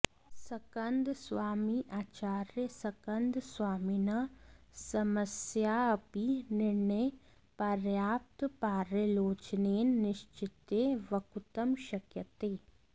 स्कन्दस्वामी अाचार्यस्कन्दस्वामिनः समयस्याऽपि निर्णयः पर्याप्तपर्यालोचनेन निश्चित्य वक्तुं शक्यते